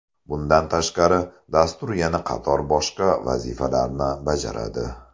Bundan tashqari, dastur yana qator boshqa vazifalarni bajaradi.